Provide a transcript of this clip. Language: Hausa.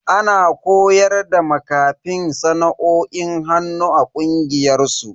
Ana koyar da makafin sana'o'in hannu a kungiyar su.